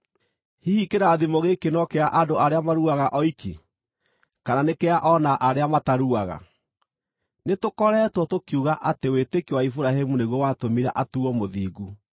Hihi kĩrathimo gĩkĩ no kĩa andũ arĩa maruaga oiki, kana nĩ kĩa o na arĩa mataruaga? Nĩtũkoretwo tũkiuga atĩ wĩtĩkio wa Iburahĩmu nĩguo watũmire atuuo mũthingu.